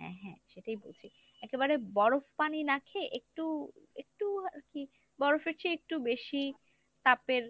হ্যাঁ হ্যাঁ সেটাই বলছি। একেবারে বরফ পানি না খেয়ে একটু একটু আরকি বরফের চেয়ে একটু বেশি তাপের